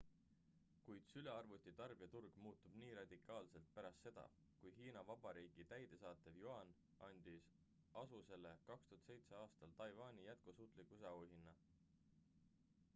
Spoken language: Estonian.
kuid sülearvuti tarbijaturg muutub nii radikaalselt pärast seda kui hiina vabariigi täidesaatev yuan andis asusele 2007 aastal taiwani jätkusuutlikkuse auhinna